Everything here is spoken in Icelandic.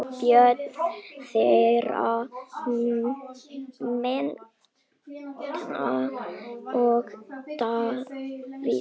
Börn þeirra Metta og Davíð.